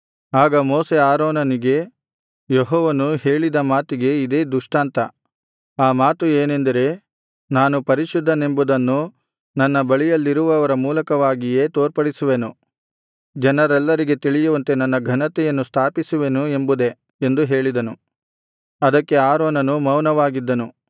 ಆಗ ಮೋಶೆ ಆರೋನನಿಗೆ ಯೆಹೋವನು ಹೇಳಿದ ಮಾತಿಗೆ ಇದೇ ದೃಷ್ಟಾಂತ ಆ ಮಾತು ಏನೆಂದರೆ ನಾನು ಪರಿಶುದ್ಧನೆಂಬುದನ್ನು ನನ್ನ ಬಳಿಯಲ್ಲಿರುವವರ ಮೂಲಕವಾಗಿಯೇ ತೋರ್ಪಡಿಸುವೆನು ಜನರೆಲ್ಲರಿಗೆ ತಿಳಿಯುವಂತೆ ನನ್ನ ಘನತೆಯನ್ನು ಸ್ಥಾಪಿಸುವೆನು ಎಂಬುದೇ ಎಂದು ಹೇಳಿದನು ಅದಕ್ಕೆ ಆರೋನನು ಮೌನವಾಗಿದ್ದನು